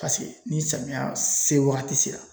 Paseke ni samiya se wagati sera